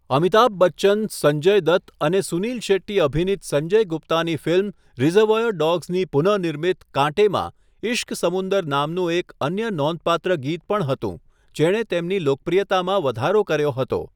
અમિતાભ બચ્ચન, સંજય દત્ત અને સુનિલ શેટ્ટી અભિનીત સંજય ગુપ્તાની ફિલ્મ 'રિઝર્વોયર ડોગ્સ' ની પુનઃનિર્મિત 'કાંટે' માં 'ઇશ્ક સમુંદર' નામનું એક અન્ય નોંધપાત્ર ગીત પણ હતું, જેણે તેમની લોકપ્રિયતામાં વધારો કર્યો હતો.